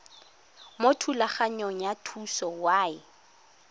mo thulaganyong ya thuso y